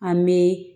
An bɛ